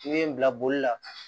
I bɛ n bila boli la